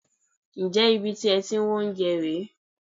Ǹjẹ́ ibi tí ẹ ti ń wá oúnjẹ rè é?